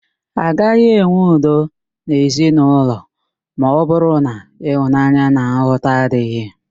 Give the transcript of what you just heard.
Agaghị enwe udo n'ezinaụlọ ma ọbụrụ na ịhụnanya na nghọta adịghị